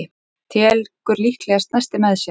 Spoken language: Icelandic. Tekur líklega nesti með sér.